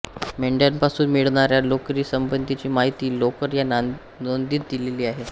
मेंढ्यांपासून मिळणाऱ्या लोकरीसंबंधीची माहिती लोकर या नोंदीत दिलेली आहे